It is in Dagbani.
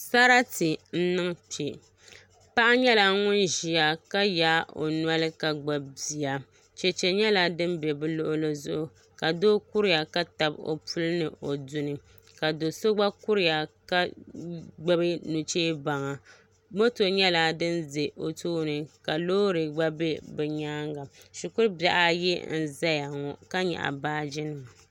Sarati n niŋ kpɛ paɣa nyɛla ŋun ʒiya ka yaai o noli ka gbubi bia chɛchɛ nyɛla din bɛ bi luɣuli zuɣu ka doo kuriya ka tabi o zuɣu ni o puli ka do so gba kuriya ka gbubi nuchɛ baŋa moto nyɛla din ʒɛ o tooni ka loori gba bɛ o nyaanga shikuru bihi ayi n ʒɛya ŋo ka nyaɣa baaji nima